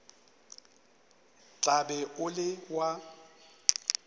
tla be o le wa